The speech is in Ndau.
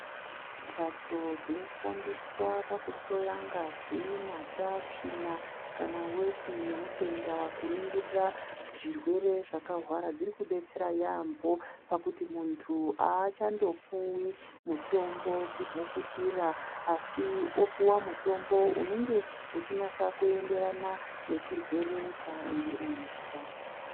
Mbatso dzinoshandiswa pakuhloya ngazi, mata, tsvina kana veti yemutenda kuningirira zvirwere zvakarwara dziri kubetsera yambo pakuti muntu hachandopuvi mutombo chimhukutira. Asi opuva mutombo unonge uchinasa kuenderana nechirwere chaanenge eizwa.